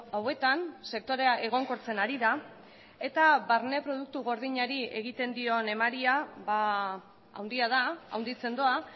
hauetan sektorea egonkortzen ari da eta barne produktu gordinari egiten dion emaria handia da handitzen doa